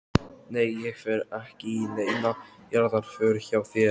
Nei ég fer ekki í neina jarðarför hjá þér.